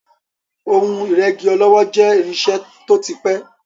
Ohun ìrẹ́gí ọlọ́wọ́ jẹ́ irinṣẹ́ tó ti pẹ́.